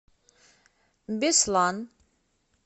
беслан